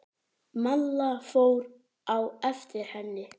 Malla fór á eftir henni.